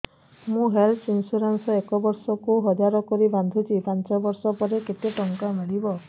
ମୁ health insurance ଏକ ବର୍ଷକୁ ହଜାର କରି ବାନ୍ଧୁଛି ପାଞ୍ଚ ବର୍ଷ ପରେ କେତେ ଟଙ୍କା ମିଳିବ